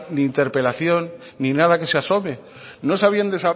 ni interpelación ni nada que se asome